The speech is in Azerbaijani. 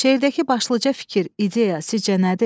Şeirdəki başlıca fikir, ideya sizcə nədir?